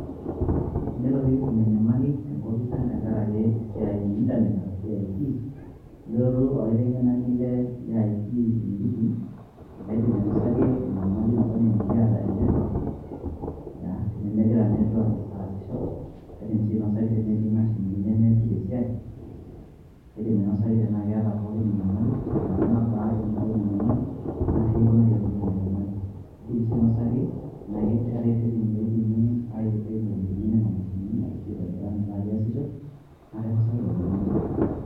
tenelo nikitum enyamali, tenkopis ang' tenkaraki esiai e intanet arashu IT, nelotu olaiteng'enani le IT enikitii, naidim ainosaki enyamali nikiata e network ,tenemegira network aasisho, kaidim sii ainosaki tenetii imashinini nemeesiata esiai, kaidim ainosaki tenaa keeta pookin enyamali, te nkata nabaa enotito ina nyamali, naa kaji ikuna pee enotito ina nyamali. idim sii ainosaki ,tenaa keetae ireteni loidimi aibelekenyie nena mashinini ashu aitobira metaa keesisho naa kainosaki lelo omon pookin.